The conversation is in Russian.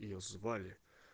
её звали